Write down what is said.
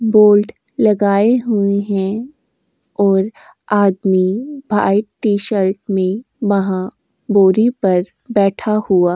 board लगाए हुए हैं और आदमी व्हाइट टी शर्ट मे वहाँ बोरी पर बैठा हुआ --